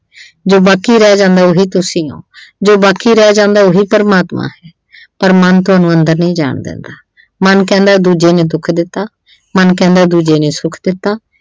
ਜੋ ਬਾਕੀ ਰਹਿ ਜਾਂਦਾ ਉਹੀ ਤੁਸੀਂ ਓਂ ਜੋ ਬਾਕੀ ਰਹਿ ਜਾਂਦਾ ਉਹੀ ਪਰਮਾਤਮਾ ਆ ਪਰ ਮਨ ਤੁਹਾਨੂੰ ਅੰਦਰ ਨਹੀਂ ਜਾਣ ਦਿੰਦਾ ਮਨ ਕਹਿੰਦਾ ਦੂਜੇ ਨੇ ਦੁੱਖ ਦਿੱਤਾ, ਮਨ ਕਹਿੰਦਾ ਦੂਜੇ ਨੇ ਸੁੱਖ ਦਿੱਤਾ।